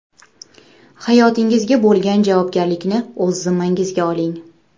Hayotingizga bo‘lgan javobgarlikni o‘z zimmangizga oling.